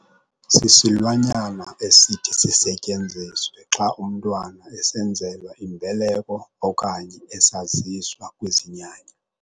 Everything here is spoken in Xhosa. Sisilwanyana esithi sisetyenziswe xa umntwana esenzelwa imbeleko okanye esaziswa kwizinyanya .